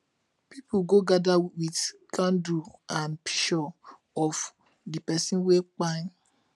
pipo go gada wit candle an pishur of di pesin wey kpai